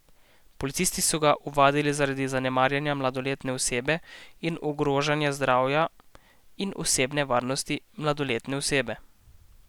Policisti so ga ovadili zaradi zanemarjanja mladoletne osebe in ogrožanja zdravja in osebne varnosti mladoletne osebe.